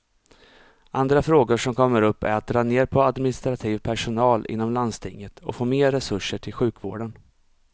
Andra frågor som kommer upp är att dra ner på administrativ personal inom landstinget och få mer resurser till sjukvården.